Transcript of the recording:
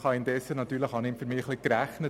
In der Zwischenzeit habe ich gerechnet.